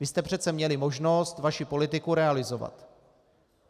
Vy jste přece měli možnost vaši politiku realizovat.